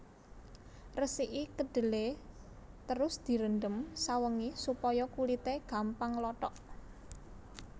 Resiki kedhelé terus direndhem sawengi supaya kulité gampang nglothok